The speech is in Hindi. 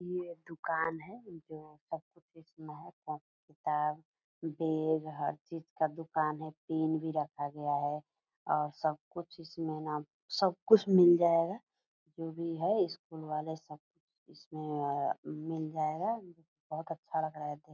ये दुकान है जो सब कुछ इसमें है कॉपी किताब बैग हर चीज का दुकान है पेन भी रखा गया है और सब कुछ इसमें न सब कुछ मिल जाएगा जो भी है स्कूल वाले सब कुछ इसमें सब मिल जाएगा बहुत अच्छा लग रहा है देख --